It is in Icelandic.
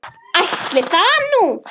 Ætli það nú.